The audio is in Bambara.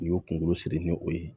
N'i y'o kunkolo siri ni o ye